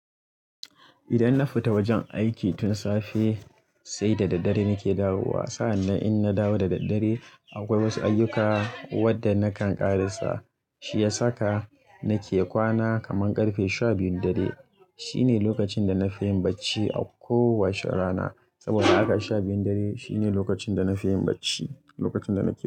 Idan na fita wajen aiki tun safe sai da daddare nake dawowa. Sa'an nan in na dawo da daddare akwai wasu ayyuka wadda nakan ƙara sa. Shi ya saka nake kwana kaman ƙarfe sha biyun dare. Shi ne lokacin da na fi yin barci a ko wace rana. Saboda haka sha biyun dare shi ne lokacin da na fi yin barci, lokacin da na ke.